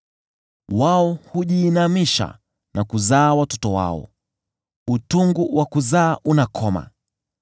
Wao hujiinamisha na kuzaa watoto wao; utungu wa kuzaa unakoma.